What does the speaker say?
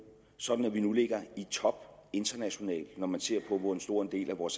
sådan at vi nu ligger i top internationalt når man ser på hvor stor en del af vores